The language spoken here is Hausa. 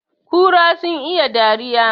Kura sun iya dariya